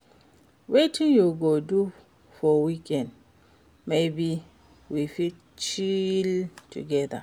Wetin you go do for weekend? Maybe we fit chill together.